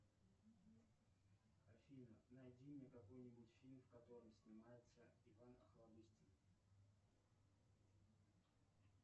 афина найди мне какой нибудь фильм в котором снимается иван охлобыстин